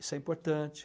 Isso é importante.